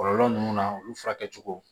Kɔlɔlɔ ninnu na olu furakɛ cogo